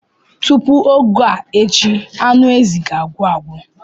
Tupu oge a echi anụ ezi ga-agwụ agwụ.